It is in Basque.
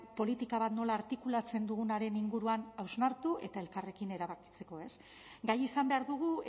politika bat nola artikulatzen dugunaren inguruan hausnartu eta elkarrekin erabakitzeko gai izan behar dugu